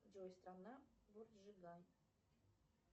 джой страна бурджигай